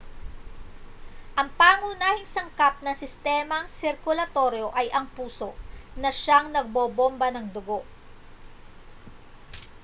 ang pangunahing sangkap ng sistemang sirkulatoryo ay ang puso na siyang nagbobomba ng dugo